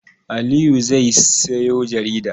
Aliyu zai sayo jarida.